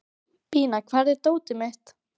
Bína, hvar er dótið mitt?